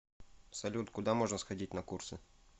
салют куда можно сходить на курсы